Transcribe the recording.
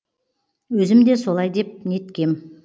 өзім де солай деп неткем